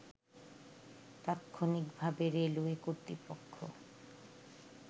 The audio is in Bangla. তাৎক্ষনিকভাবে রেলওয়ে কর্তৃপক্ষ